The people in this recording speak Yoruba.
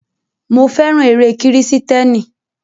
Mo fẹ́ràn eré kírísítẹ́nì.